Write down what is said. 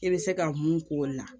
I bɛ se ka mun k'o la